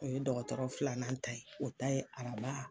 O ye dɔgɔtɔrɔ filanan ta ye o ta ye araba.